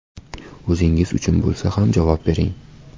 O‘zingiz uchun bo‘lsa ham javob bering.